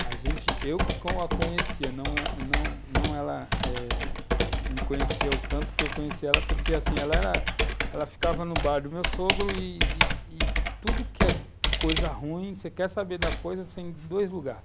A gente, eu que a conhecia, não, não, não ela, eh, me conheceu o tanto que eu conheci ela, porque, assim, ela era, ela ficava no bar do meu sogro e e e tudo que é coisa ruim, você quer saber da coisa, você tem dois lugares.